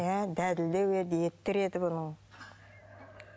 иә еді еті тірі еді бұның